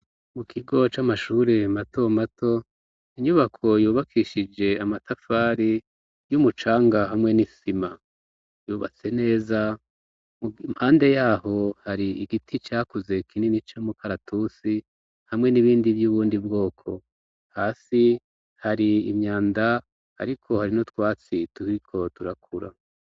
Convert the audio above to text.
Mu kigo c'amashuri mato mato, inyubako yubakishije amatafari y'umucanga hamwe n'isima, yubatse neza impande yaho hari igiti cakuze kinini c'umukaratusi hamwe n'ibindi vy'ubundi bwoko, hasi hari imyanda ariko hari n'utwatsi turiko turakura